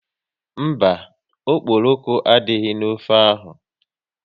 Mba, okporoko adịghị n'ofe ahụ